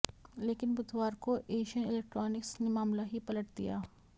लेकिन बुधवार को एशियन इलेक्ट्रॉनिक्स ने मामला ही पलट दिया